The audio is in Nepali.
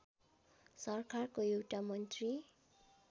सरकारको एउटा मन्त्री